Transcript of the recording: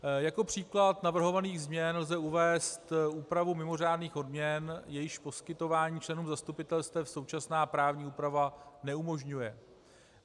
Jako příklad navrhovaných změn lze uvést úpravu mimořádných odměn, jejichž poskytování členům zastupitelstev současná právní úprava neumožňuje.